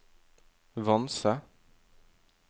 Vanse